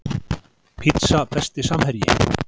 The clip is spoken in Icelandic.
pizza Besti samherji?